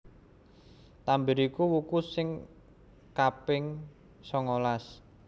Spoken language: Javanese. Tambir iku wuku sing kaping sangalas